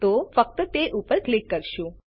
તો ફક્ત તે પર ક્લિક કરીશું